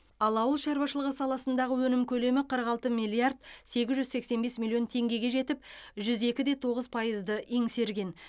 ал ауыл шаруашылығы саласындағы өнім көлемі қырық алты миллиард сегіз жүз сексен бес миллион теңгеге жетіп жүз екіде тоғыз пайызды еңсерген